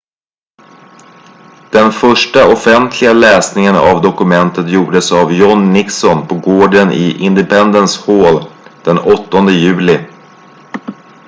den första offentliga läsningen av dokumentet gjordes av john nixon på gården i independence hall den 8 juli